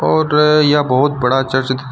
और यह बहोत बड़ा चर्च --